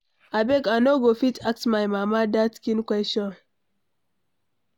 Abeg, I no go fit ask my mama dat kin question.